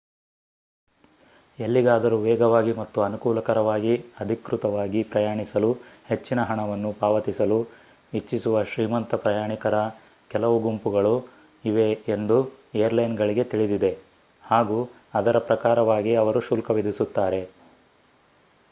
ಎಲ್ಲಿಗಾದರೂ ವೇಗವಾಗಿ ಮತ್ತು ಅನುಕೂಲಕರವಾಗಿ ಅಧಿಕೃತವಾಗಿ ಪ್ರಯಾಣಿಸಲು ಹೆಚ್ಚಿನ ಹಣವನ್ನು ಪಾವತಿಸಲು ಇಚ್ಛಿಸುವ ಶ್ರೀಮಂತ ಪ್ರಯಾಣಿಕರ ಕೆಲವು ಗುಂಪುಗಳು ಇವೆ ಎಂದು ಏರ್ಲೈನ್ಗಳಿಗೆ ತಿಳಿದಿದೆ ಹಾಗು ಅದರ ಪ್ರಕಾರವಾಗಿ ಅವರು ಶುಲ್ಕ ವಿಧಿಸುತ್ತಾರೆ